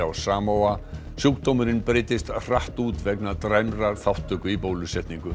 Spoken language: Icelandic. á sjúkdómurinn breiddist hratt út vegna dræmrar þátttöku í bólusetningu